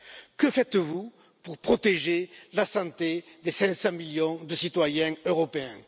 que faites vous pour protéger la santé des 500 millions de citoyens européens?